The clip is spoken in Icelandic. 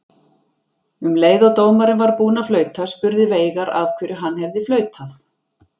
Um leið og dómarinn var búinn að flauta spurði Veigar af hverju hann hefði flautað.